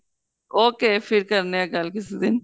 okay ਫਿਰ ਕਰਨੇ ਆ ਗੱਲ ਕਿਸੀ ਦਿਨ